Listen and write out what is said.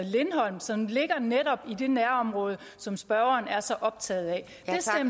lindholm som ligger netop i det nærområde som spørgeren er så optaget af